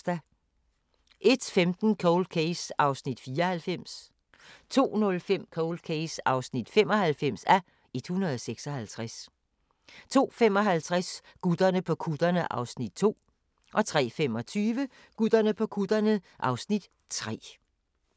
01:15: Cold Case (94:156) 02:05: Cold Case (95:156) 02:55: Gutterne på kutterne (Afs. 2) 03:25: Gutterne på kutterne (Afs. 3)